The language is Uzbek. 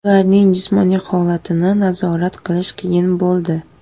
Ularning jismoniy holatini nazorat qilish qiyin bo‘ldi.